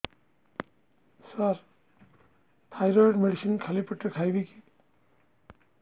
ସାର thyroid medicine ଖାଲି ପେଟରେ ଖାଇବି କି